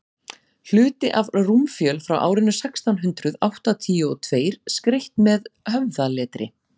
hluti af rúmfjöl frá árinu sextán hundrað áttatíu og tveir skreytt með höfðaletri